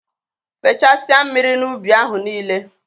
Fechasia mmiri n'ubi ahụ nile!.